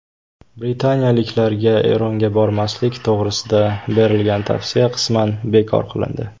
Britaniyaliklarga Eronga bormaslik to‘g‘risida berilgan tavsiya qisman bekor qilindi.